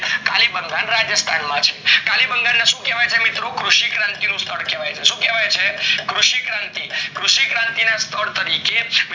ખાલી કલીબંગલ રાજસ્થાન માં છે કલીબંગલ ને શું કહેવાય છે મિત્રો કૃષિ ક્રાંતિ ઓનું સ્થળ કહેવાય છે શું કહેવાય છે કૃષિ ક્રાંતિ ઓનું સ્થળ કહેવાય તરીકે કલીવ્બંગા